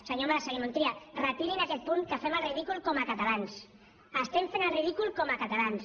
senyor mas senyor montilla retirin aquest punt que fem el ridícul com a catalans estem fent el ridícul com a catalans